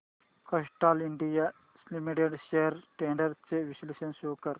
Castrol India limited shares trends चे विश्लेषण show कर